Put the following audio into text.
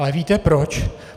Ale víte proč?